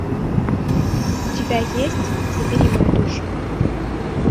у тебя есть забери мою душу